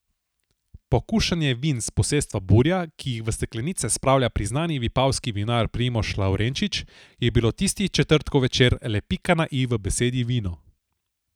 Pokušanje vin s posestva Burja, ki jih v steklenice spravlja priznani vipavski vinar Primož Lavrenčič, je bilo tisti četrtkov večer le pika na i v besedi vino.